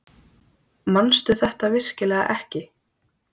Manstu þetta virkilega ekki?